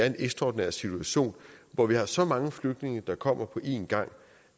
en ekstraordinær situation hvor vi har så mange flygtninge der kommer på en gang